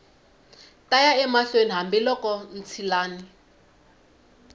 ta ya mahlweni hambiloko ntshilani